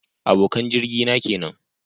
Abokan jirgi na kenan